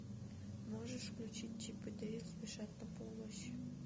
можешь включить чип и дейл спешат на помощь